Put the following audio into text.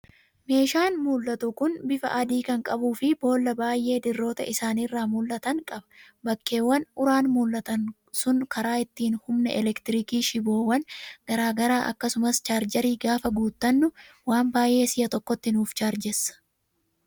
Meeshaan mul'atu kun bifa adii kan qabuu fi boolla baay'ee dirroota isaarraa mul'atan qaba. Bakkeewwan uraan mul'atan sun karaa ittiin humna elektiriikii shiboowwan garaagaraa akkasumas chaarjarii gaafa guuttannu waan baay'ee si'a tokkotti nuuf chaarjessa.